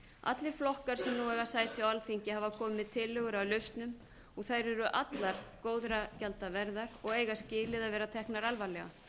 allir flokkar sem nú eiga sæti á alþingi hafa komið með tillögur að lausnum og þær eru allar góðra gjalda verðar og eiga skilið að verða teknar alvarlegar